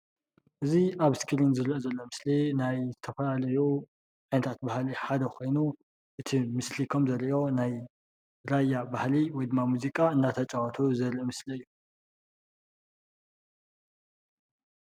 እዚ ኣብ እስክሪ ዝረአ ዘሎ ናይ ዝተፈላለዩ ዓይነታት ባህሊ ሓደ ኮይኑ እቲ ምስሊ ከም ዘርእዮ ናይ ራያ ባህሊ ወይ ድማ ሙዚቃ እናተፃወቱ ዘርኢ ምስሊ እዩ፡፡